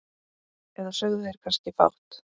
Eða sögðu þeir kannski fátt?